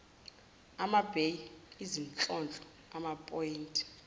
amabheyi izinhlonhlo amaphoyinti